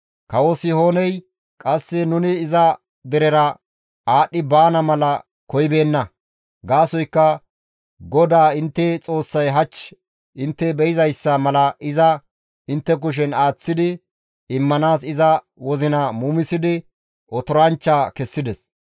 Kawo Sihooney qasse nuni iza derera aadhdhi baana mala koyibeenna; gaasoykka GODAA intte Xoossay hach intte be7izayssa mala iza intte kushen aaththi immanaas iza wozina muumisidi otoranchcha kessides.